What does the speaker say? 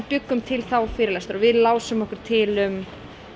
bjuggum til þá fyrirlestra lásum okkur til um